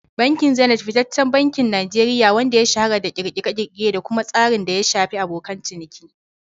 Bankin Zenith fitaccen bankin Najeriya ne, wanda ya shahara da ƙirƙire-ƙirƙire da kuma tsarin da ya shafi abokan ciniki.